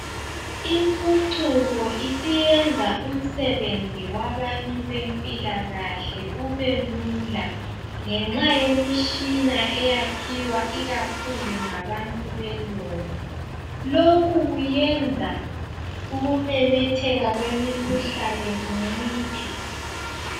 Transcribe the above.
Impucuko isiyenza umsebenzi wabantu bempilakahle ubelula. Ngenxa yemishina eyakhiwa ikakhulu ngabantu belungu. Lokhu kuyenza ukumemetheka kwemikhuhlane kunciphe.